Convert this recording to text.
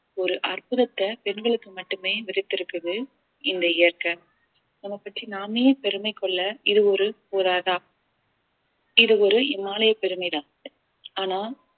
ஒரு அற்புதத்தை பெண்களுக்கு மட்டுமே விதித்து இருக்குது இந்த இயற்கை நம்ம பற்றி நாமே பெருமை கொள்ள இது ஒரு தான் இது ஒரு இமாலய பெருமைதான் ஆனால்